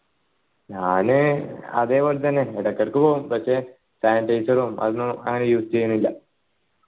ഞാന് അതെ പോലെത്തന്നെ എടക് എടക്ക് പോകും പക്ഷെ sanitizer അതും അങ്ങനൊന്നും use ചെയ്യലില്ല